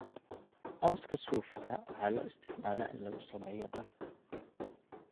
Cawska suufka waxaa loo isticmaalaa in lagu sameeyo dhar.